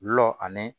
Gulɔ ani